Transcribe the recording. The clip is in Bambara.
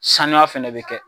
Sanua fɛnɛ bɛ kɛ.